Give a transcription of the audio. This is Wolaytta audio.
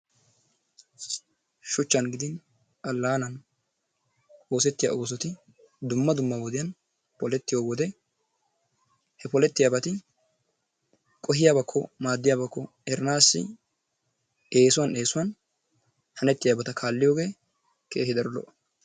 Shuuchchan gidin alaanan oosettiyaa oosotti dumma dumma wodiyaan polettiyoo wode he polettiyaabati qohiyaabako maadiyaabako eranassi essuwaan essuwaan hanettiyaabata kaalliyoogee keehi daro lo"o.